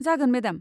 जागोन मेडाम।